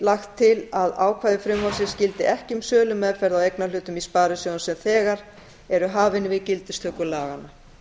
lagt til að ákvæði frumvarpsins gildi ekki um sölumeðferð á eignarhlutum í sparisjóðum sem þegar er hafin við gildistöku laganna